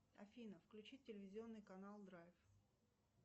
афина включи телевизионный канал драйв